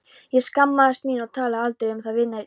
Ég skammaðist mín og talaði aldrei um það við neinn.